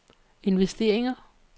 investeringer